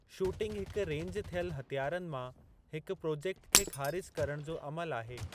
Shooting हिक range थियल हथियारनि मां हिकु प्रोजेक्ट खे ख़ारिज करणु जो अमलु आहे।